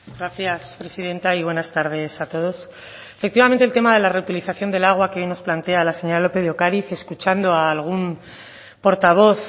gracias presidenta y buenas tardes a todos efectivamente el tema de la reutilización del agua que hoy nos plantea la señora lópez de ocariz escuchando a algún portavoz